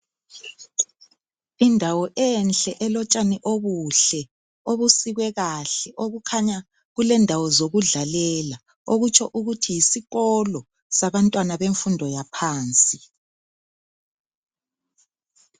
indawo enhle elotshani obuhle obusikwe kahle okukhanya kulendawo zokudlalela okutsho ukuthi yiskolo semfundo yangaphansi